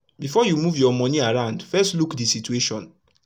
if u dey record how much u dey spend everi tym e fit epp u manage ur moni wel